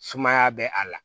Sumaya bɛ a la